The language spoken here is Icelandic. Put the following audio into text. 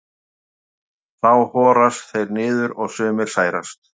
þá horast þeir niður og sumir særast